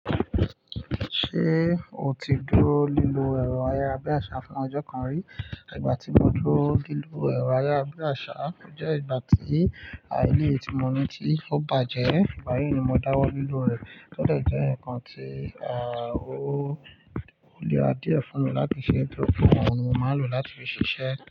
Ṣé o ti dúró laílọ ẹ̀rọ ayárabíàṣá fún ọjọ́ kan rí? Igba ti mo duro lilo ero ayarabiasa je igba ti eleyii ti mo ni ti o baje, igba yii ni mo da wo lilo re. Ó de jẹ́ ǹkan tí ò ni ra díẹ̀ fún mi láti ṣe, nitori pè òún ni mo máa lò láti fi ṣiṣẹ́